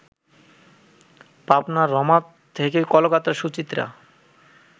পাবনার রমা থেকে কলকাতার সুচিত্রা